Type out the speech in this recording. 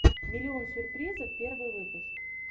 миллион сюрпризов первый выпуск